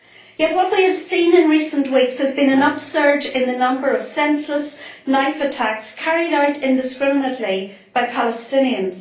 Yet what we have seen in recent weeks has been an upsurge in the number of senseless knife attacks carried out indiscriminately by Palestinians.